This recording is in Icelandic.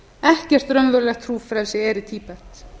ekkert raunverulegt trúfrelsi er í tíbet